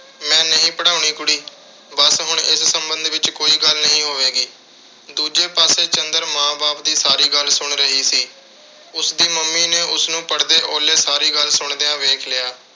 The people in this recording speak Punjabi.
ਮੈਂ ਨਹੀਂ ਪੜ੍ਹਾਉਣੀ ਕੁੜੀ। ਬੱਸ ਹੁਣ ਇਸ ਸਬੰਧ ਵਿੱਚ ਕੋਈ ਗੱਲ ਨਹੀਂ ਹੋਵੇਗੀ। ਦੂਜੇ ਪਾਸੇ ਚੰਦਰ ਮਾਂ-ਬਾਪ ਦੀ ਸਾਰੀ ਗੱਲ ਸੁਣ ਰਹੀ ਸੀ। ਉਸਦੀ mummy ਨੇ ਉਸਨੂੰ ਪੜਦੇ ਓਹਲੇ ਸਾਰੀ ਗੱਲ ਸੁਣਦਿਆਂ ਵੇਖ ਲਿਆ।